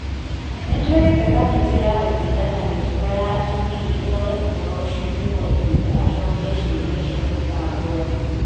Nĩ twĩrĩtĩ kamĩtĩ ya gũthingata mũtugo ya Jubilee erore ũhoro ũcio nĩguo ĩmwĩtĩ acokie ciũria cia thitango ĩyo.